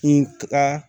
N taga